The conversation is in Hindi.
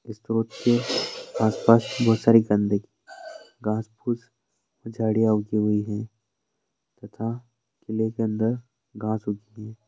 इस स्त्रोत के आस-पास बहुत गंदगी घास पूस झाडिया उगी हुई है तथा किले के अंदर घास उगी हुई है।